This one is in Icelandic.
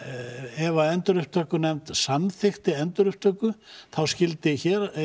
ef endurupptökunefnd samþykkti endurupptöku þá skyldi